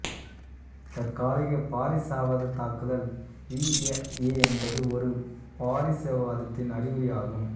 தற்காலிக பாரிசவாத தாக்குதல் ரிஐஏ என்பது ஒரு பாரிசவாதத்தின் அறிகுறி ஆகும்